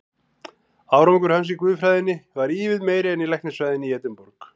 Árangur hans í guðfræðinni varð ívið meiri en í læknisfræðinni í Edinborg.